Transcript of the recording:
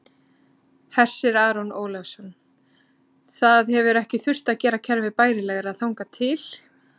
Hersir Aron Ólafsson: Það hefur ekki þurft að gera kerfið bærilegra þangað til?